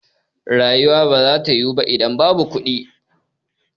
Rayuwa ba za ta yiwu ba idan babu kuɗi